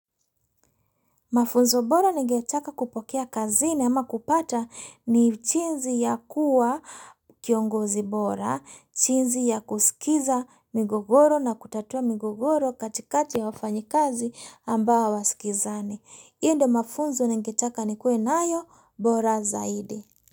Mafunzo bora ningetaka kupokea kazini ama kupata ni chinzi ya kuwa kiongozi bora, chinzi ya kusikiza migogoro na kutatua migogoro katikati ya wafanyikazi ambao hawasikizani. Hio ndo mafunzo ningetaka nikiue nayo bora zaidi.